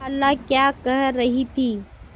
खाला क्या कह रही थी